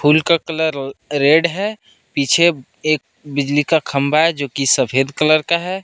फूल का colour red है पीछे एक बिजली का खंबा है जो की सफेद कलर का है।